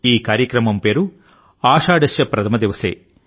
ఈ కార్యక్రమం పేరు ఆషాఢస్య ప్రథమ దివసే